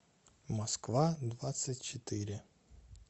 москва двадцать четыре